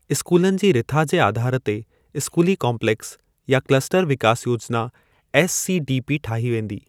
स्कूलनि जी रिथा जे आधार ते स्कूली काम्पलेक्स या क्लस्टर विकास योजना एससीडीपी ठाही वेंदी।